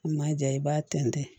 N ma ja i b'a tɛntɛn